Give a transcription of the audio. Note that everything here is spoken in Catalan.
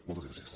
moltes gràcies